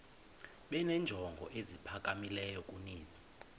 benenjongo eziphakamileyo kunezi